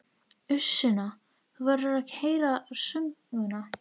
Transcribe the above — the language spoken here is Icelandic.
Uss Sunna, þú verður að heyra söguna!